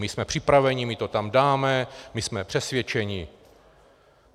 My jsme připraveni, my to tam dáme, my jsme přesvědčeni.